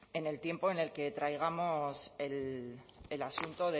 en el tiempo en el que traigamos el asunto